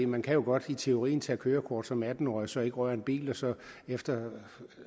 man kan jo godt i teorien tage kørekort som atten årig og så ikke røre en bil og så efter